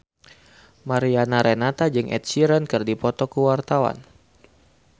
Mariana Renata jeung Ed Sheeran keur dipoto ku wartawan